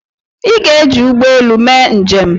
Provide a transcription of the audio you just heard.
Ị ga-eji ụgbọ elu mee njem!